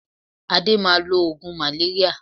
Adé máa lo oògùn maléríà